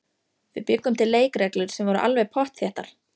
Við bjuggum til leikreglur sem voru alveg pottþéttar.